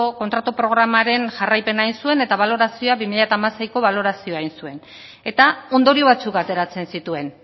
kontratu programaren jarraipena egin zuen eta balorazioa bi mila hamaseiko balorazioa egin zuen eta ondorio batzuk ateratzen zituen